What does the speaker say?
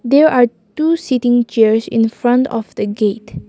there are two sitting chairs in front of the gate.